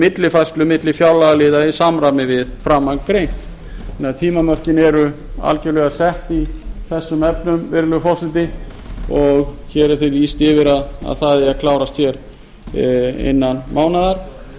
millifærslu milli fjárlagaliða í samræmi við framangreint meðan tímamörkin eru algerlega sett í þessum efnum virðulegi forseti og hér er því lýst yfir að það eigi að klárast innan mánaðar